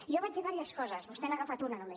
i jo vaig dir diverses coses vostè n’ha agafat una només